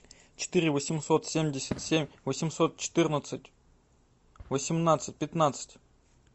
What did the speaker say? четыре восемьсот семьдесят семь восемьсот четырнадцать восемнадцать пятнадцать